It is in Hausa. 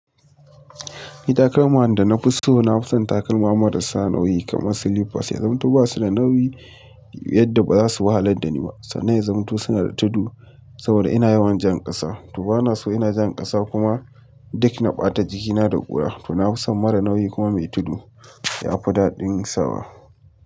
Takalma da na fi so, na fi son takalma marasa nauyi kamar slippers. Ya zamu ba su da nauyi yadda ba za su wahalar da ni ba. Sannan ya zamto suna da tudu saboda ina yawan jan ƙasa. To bana son ina jan ƙasa kuma duk na ɓata jikina da ƙura. To na fi son mara nauyi kuma mai tudu. Ya fi daɗin sawa.